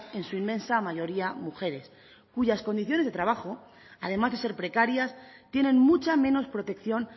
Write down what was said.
en su inmensa mayoría mujeres cuyas condiciones de trabajo además de ser precarias tienen mucha menos protección